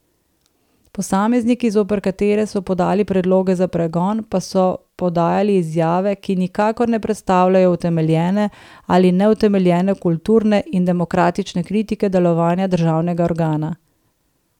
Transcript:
Posamezniki, zoper katere so podali predloge za pregon, pa so podajali izjave, ki nikakor ne predstavljajo utemeljene ali neutemeljene kulturne in demokratične kritike delovanja državnega organa.